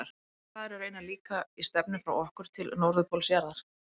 Sá staður er raunar líka í stefnu frá okkur til norðurpóls jarðar.